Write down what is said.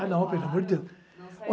Claro. Ah, não, pelo amor de Deus.